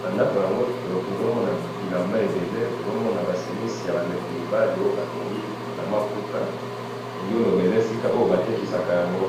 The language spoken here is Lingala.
na ndako yango tozomona bilamba ebele, tozomona ba chemises yaba ndeko mibali, oyo batongi na maputa na elingi nazoloba oyo batekisa yango